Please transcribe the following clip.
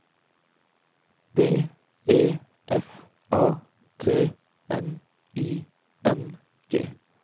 B E F A T N I N G